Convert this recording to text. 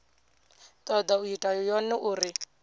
toda u ita yone uri